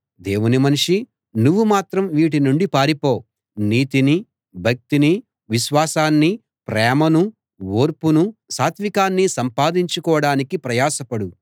దేవుని మనిషీ నువ్వు మాత్రం వీటి నుండి పారిపో నీతినీ భక్తినీ విశ్వాసాన్నీ ప్రేమనూ ఓర్పునూ సాత్వీకాన్నీ సంపాదించుకోడానికి ప్రయాసపడు